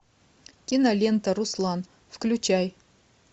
кинолента руслан включай